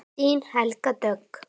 Þín Helga Dögg.